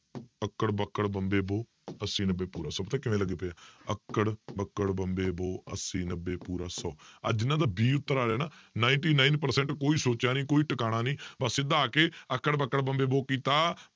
ਅੱਕੜ ਬੱਕੜ ਬੰਬੇ ਬੋ ਅੱਸੀ ਨੱਬੇ ਪੂਰਾ ਸੌ ਕਿਵੇਂ ਲੱਗੇ ਪਏ ਆ, ਅੱਕੜ ਬੱਕੜ ਬੰਬੇ ਬੋ ਅੱਸੀ ਨੱਬੇ ਪੂਰਾ ਸੌ ਆਹ ਜਿਹਨਾਂ ਦਾ b ਉੱਤਰ ਆ ਰਿਹਾ ਨਾ ninety-nine percent ਕੋਈ ਸੋਚਿਆ ਨੀ ਕੋਈ ਟਿਕਾਣਾ ਨੀ ਬਸ ਸਿੱਧਾ ਆ ਕੇ ਅੱਕੜ ਬੱਕੜ ਬੰਬੇ ਬੋ ਕੀਤਾ